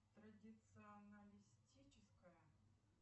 традиционалистическая